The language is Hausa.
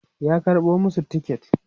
ya karɓo masu tiket